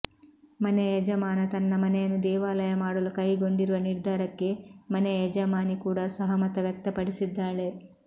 ಮನೆಯ ಯಜಮಾನ ತನ್ನ ಮನೆಯನ್ನು ದೇವಾಲಯ ಮಾಡಲು ಕೈಗೊಂಡಿರುವ ನಿರ್ಧಾರಕ್ಕೆ ಮನೆಯ ಯಜಮಾನಿ ಕೂಡ ಸಹಮತ ವ್ಯಕ್ತಪಡಿಸಿದ್ದಾಳೆ